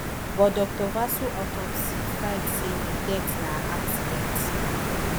but dr vasu autopsy find say di death na accident